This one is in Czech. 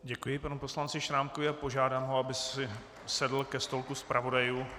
Děkuji panu poslanci Šrámkovi a požádám ho, aby si sedl ke stolku zpravodajů.